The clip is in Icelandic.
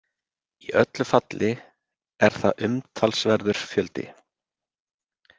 Í öllu falli er það umtalsverður fjöldi.